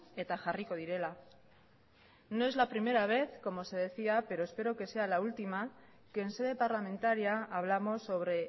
eta jarriko direla no es la primera vez como se decía pero espero que sea la última que en sede parlamentaria hablamos sobre